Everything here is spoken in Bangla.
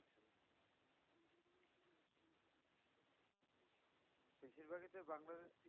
বেশিরভাগই তো ওই বাংলাদেশ